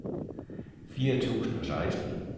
fire tusind og seksten